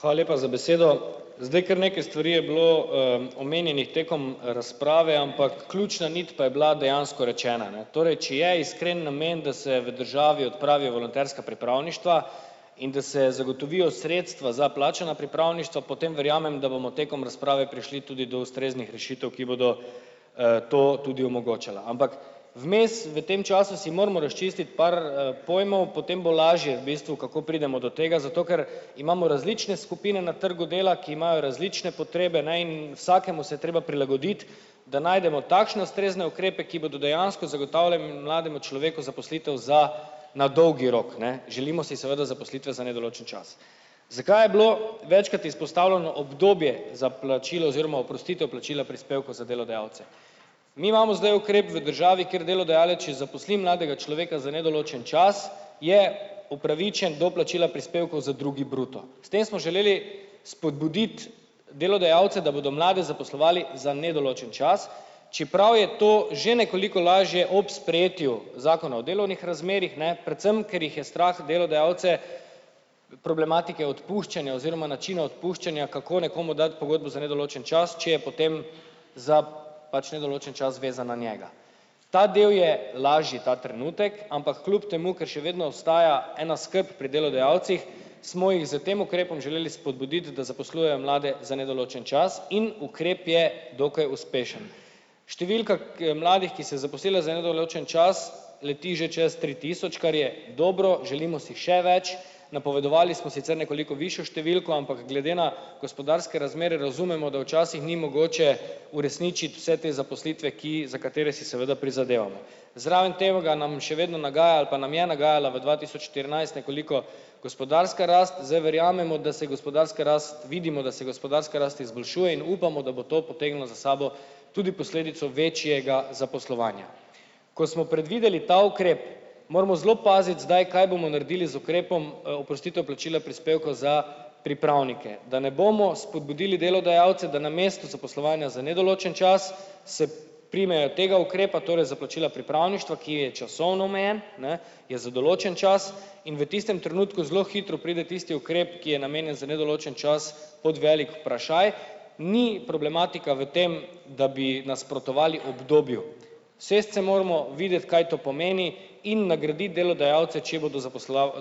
Hvala lepa za besedo! Zdaj, kar nekaj stvari je bilo, omenjenih tekom razprave, ampak ključna nit pa je bila dejansko rečena, ne. Torej, če je iskren namen, da se v državi odpravi volonterska pripravništva in da se zagotovijo sredstva za plačana pripravništva, potem verjamem, da bomo tekom razprave prišli tudi do ustreznih rešitev, ki bodo, to tudi omogočala, ampak vmes v tem času si moramo razčistiti par, pojmov, potem bo lažje v bistvu, kako pridemo do tega, zato ker imamo različne skupine na trgu dela, ki imajo različne potrebe, ne, in vsakemu se treba prilagoditi, da najdemo takšne ustrezne ukrepe, ki bodo dejansko zagotavljali mlademu človeku zaposlitev za na dolgi rok, ne. Želimo si seveda zaposlitve za nedoločen čas. Zakaj je bilo večkrat izpostavljeno obdobje za plačilo oziroma oprostitev plačila prispevkov za delodajalce. Mi imamo zdaj ukrep v državi, kjer delodajalec, če zaposli mladega človeka za nedoločen čas, je upravičen do plačila prispevkov za drugi bruto. S tem smo želeli spodbuditi delodajalce, da bodo mlade zaposlovali za nedoločen čas, čeprav je to že nekoliko lažje ob sprejetju zakona o delovnih razmerjih, ne, predvsem ker jih je strah delodajalce problematike odpuščanja oziroma načina odpuščanja, kako nekomu dati pogodbo za nedoločen čas, če je potem za pač nedoločen čas vezan na njega. Ta del je lažji ta trenutek, ampak kljub temu, ker še vedno ostaja ena skrb pri delodajalcih, smo jih s tem ukrepom želeli spodbuditi, da zaposlujejo mlade za nedoločen čas in ukrep je dokaj uspešen. Številka, ki je mladih, ki se je zaposlilo za nedoločen čas, leti že čez tri tisoč, kar je dobro, želimo si še več, napovedovali smo sicer nekoliko višjo številko, ampak glede na gospodarske razmere razumemo, da včasih ni mogoče uresničiti vse te zaposlitve, ki za katere si seveda prizadevamo. Zraven še vedno nagaja ali pa nam je nagajala v dva tisoč štirinajst nekoliko gospodarska rast, z verjamemo, da se gospodarska rast, vidimo, da se gospodarska rast izboljšuje in upamo, da bo to potegnilo za sabo tudi posledico večjega zaposlovanja. Ko smo predvideli ta ukrep, moramo zelo paziti, zdaj kaj bomo naredili z ukrepom, oprostitev plačila prispevkov za pripravnike. Da ne bomo spodbudili delodajalce, da namesto zaposlovanja za nedoločen čas se primejo tega ukrepa, torej za plačila pripravništva, ki je časovno omejen, ne, je za določen čas in v tistem trenutku zelo hitro pride tisti ukrep, ki je namenjen za nedoločen čas pod velik vprašaj. Ni problematika v tem, da bi nasprotovali obdobju. Usesti se moramo, videti, kaj to pomeni, in nagraditi delodajalce, če bodo